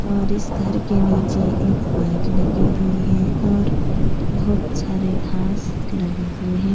और इस घर के नीचे एक बाइक लगी हुई है और बहुत सारे घास लगे हुए है।